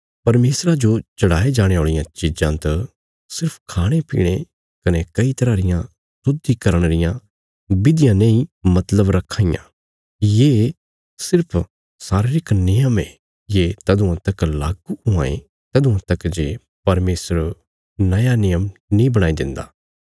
परमेशरा जो चढ़ाये जाणे औल़ियां चीजां त सिर्फ खाणेपीणे कने कई तरह रियां शुद्धीकरण रियां विधियां नेई मतलब रखां ये सिर्फ शारीरिक नियम ये ये तदुआं तक लागू हुआं ये तदुआं तक जे परमेशर नया नियम नीं बणाई देन्दा